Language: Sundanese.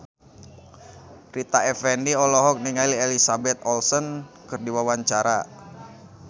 Rita Effendy olohok ningali Elizabeth Olsen keur diwawancara